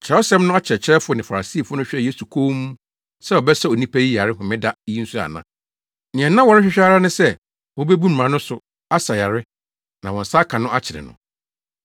Kyerɛwsɛm no akyerɛkyerɛfo ne Farisifo no hwɛɛ Yesu komm sɛ ɔbɛsa onipa yi yare Homeda yi nso ana. Nea na wɔrehwehwɛ ara ne sɛ obebu mmara no so asa yare na wɔn nsa aka no akyere no.